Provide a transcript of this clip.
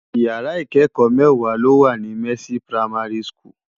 Ìyàrá ikèékò mèwá ló wá ni Mercy Primary School